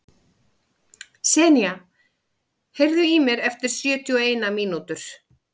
Senía, heyrðu í mér eftir sjötíu og eina mínútur.